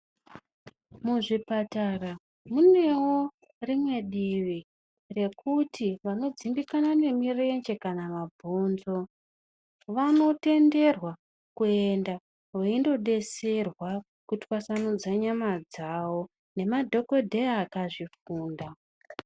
Muzvipatara munewo rimwe divi rekuti vanodzimbikana nemirenje kana mabhonzo vanotenderwa kuenda veinobetserwa kutwasanudzwa nyama dzavo, nemadhogodheya akazvifunda.